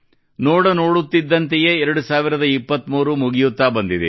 ನೋಡುತ್ತಿದ್ದಂತೆಯೇ 2023 ಮುಗಿಯುತ್ತಾ ಬಂದಿದೆ